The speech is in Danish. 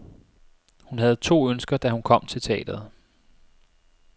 Hun havde to ønsker, da hun kom til teatret.